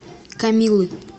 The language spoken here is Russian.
камилы